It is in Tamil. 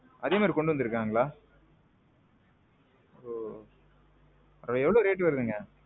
அதே மாறி கொண்டு வந்திருக்காங்களா? எவ்வளவு rate வருதுங்க?